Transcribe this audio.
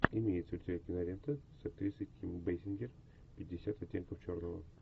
имеется ли у тебя кинолента с актрисой ким бейсингер пятьдесят оттенков черного